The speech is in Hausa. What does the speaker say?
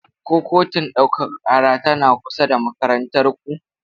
Ko kotun ɗaukaka ƙara tana kusa da makarantar ku?